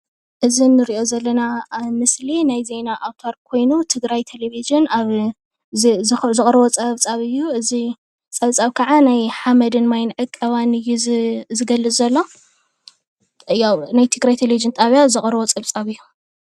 እዚ እንሪኦ ዘለና ኣብ ምስሊ ናይ ዜና ኣውታር ኮይኑ ትግራይ ቴሌቭዥን ኣብ ዘቕረቦ ፀብፃብ እዩ። እዚ ፀብፃብ ክዓ ናይ ሓመድን ማይን ዕቀባ እዩ ዝገልፅ ዘሎ ያው ናይ ትግራይ ቴሌቭዥን ጣብያ ዘቅረቦ ፀብፃብ እዩ።